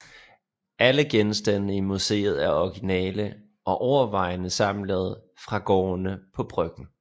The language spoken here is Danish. Alle genstandene i museet er originale og overvejende samlet fra gårdene på Bryggen